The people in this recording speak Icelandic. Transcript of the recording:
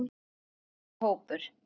Eldri hópur